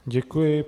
Děkuji.